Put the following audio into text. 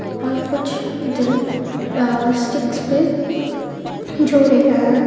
और कुछ दिल स्टिकस पे जोड़े गए है.